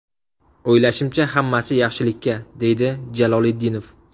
O‘ylashimcha, hammasi yaxshilikka”, deydi Jaloliddinov.